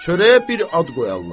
Çörəyə bir ad qoyarlar.